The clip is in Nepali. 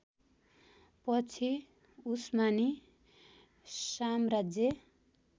पछि उस्मानी साम्राज्य